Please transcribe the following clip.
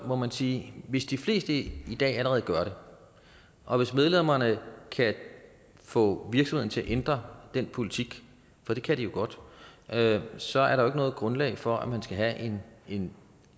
må man sige at hvis de fleste i dag allerede gør det og hvis medlemmerne kan få virksomheden til at ændre den politik for det kan de jo godt så er der noget grundlag for at man skal have en